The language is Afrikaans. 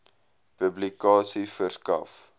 publikasie verskaf